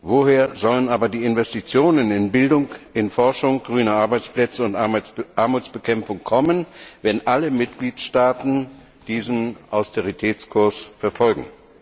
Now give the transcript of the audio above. Woher sollen aber die Investitionen in Bildung, in Forschung, in grüne Arbeitsplätze und Armutsbekämpfung kommen, wenn alle Mitgliedstaaten diesen Austeritätskurs verfolgen?